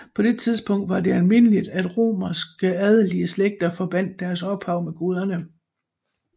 På det tidspunkt var det almindeligt at romerske adelige slægter forbandt deres ophav med guderne